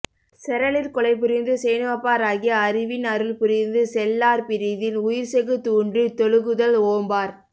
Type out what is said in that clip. செறலிற் கொலைபுரிந்து சேணுவப்பா ராகி அறிவின் அருள்புரிந்து செல்லார் பிறிதின் உயிர்செகுத் தூன்றுய்த் தொழுகுதல் ஓம்பார்